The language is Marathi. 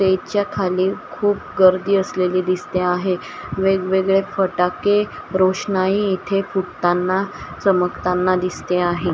बेजच्या खाली खूप गर्दी असलेली दिसते आहे वेगवेगळे फटाके रोषणाई इथे फुटताना चमकताना दिसते आहे.